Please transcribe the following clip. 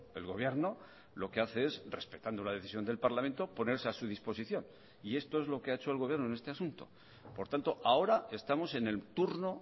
el gobierno lo que hace es respetando la decisión del parlamento ponerse a su disposición y esto es lo que ha hecho el gobierno en este asunto por tanto ahora estamos en el turno